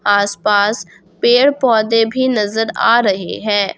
आस पास पेड़ पौधे भी नजर आ रहे हैं।